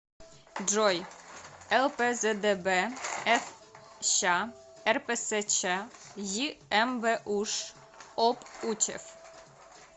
джой лпздб фщ рпсчймбуш об учеф